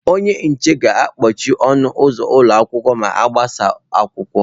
Onye nche ga-agbachi ọnụ ụzọ ụlọ akwụkwọ ma agbasa akwụkwọ.